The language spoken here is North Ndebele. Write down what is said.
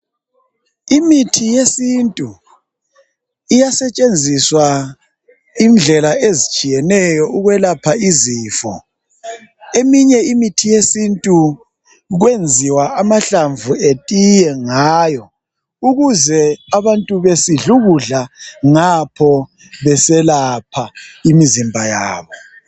Imithi yesintu iyasetshenziswa indlela ezitshiyeneyo ukwelapha izifo..Eminye imithi yesintu kwenziwa amahlamvu etiye ngayo . Ukuze abantu besidlu kudla ngapho beselapha imzimba yabo .